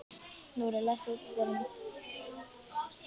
Nóri, læstu útidyrunum.